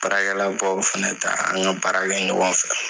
Baarakɛbaw fana ta an ka baara kɛ ɲɔgɔn fɛ